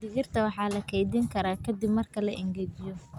Digirta waxaa la keydin karaa ka dib marka la engejiyo.